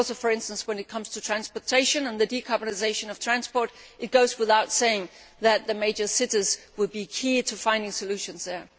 Also, for instance, when it comes to transportation and the decarbonisation of transport, it goes without saying that the major cities will be key to finding solutions there.